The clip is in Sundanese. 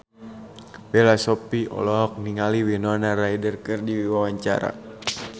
Bella Shofie olohok ningali Winona Ryder keur diwawancara